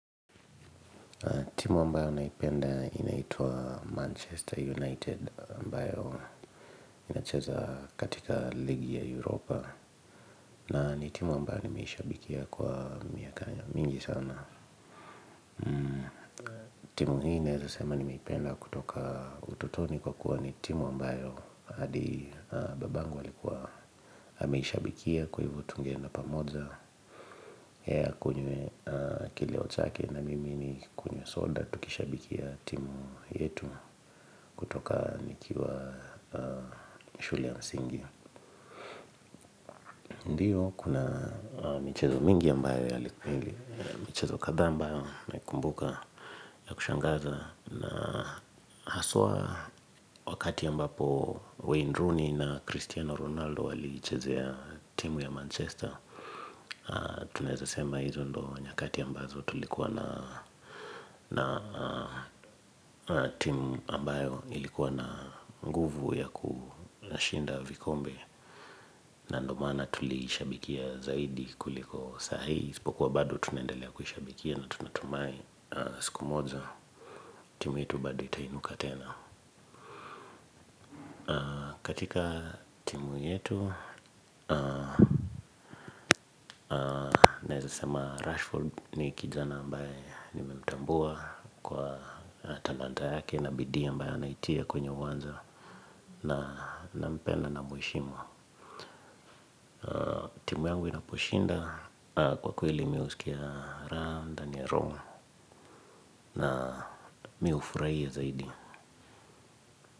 Timu ambayo naipenda inaitwa Manchester United ambayo inacheza katika ligi ya Europa na ni timu ambayo nimeishabikia kwa miaka mingi sana. Timu hii naeza sema nimeipenda kutoka utotoni kwa kuwa ni timu ambayo hadi babangu alikuwa. Ameishabikia kwa hivyo tungeenda pamoja yeye akunywe kileo chake na mimi nikunywe soda. Tukishabikia timu yetu kutoka nikiwa shule ya msingi. Ndiyo kuna michezo mingi ambayo yalikuwa mingi. Michezo kadhaa ambayo naikumbuka ya kushangaza na haswa wakati ambapo Wayne Rooney na Cristiano Ronaldo waliichezea timu ya Manchester. Tunaeza sema hizo ndo nyakati ambazo tulikuwa na timu ambayo ilikuwa na nguvu ya kushinda vikombe. Na ndo maana tulishabikia zaidi kuliko sahii isipokuwa bado tunaendelea kushabikia na tunatumai siku moja timu yetu bado itainuka tena. Katika timu yetu, naeza sema Rashford ni kijana ambaye nimemtambua kwa talanta yake na bidii ambaye anaitia kwenye uwanja na nampenda na mweshimu. Timu yangu inaposhinda kwa kweli mimi husikia raha ndani ya roho mimi hufurahia zaidi.